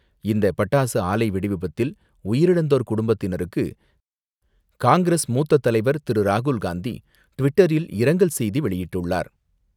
இந்த பட்டாசு ஆலை வெடிவிபத்தில் உயிரிழந்தோர் குடும்பத்தினருக்கு காங்கிரஸ் மூத்ததலைவர் திரு ராகுல் காந்தி ட்விட்டரில் இரங்கல் செய்தி வெளியிட்டுள்ளார்.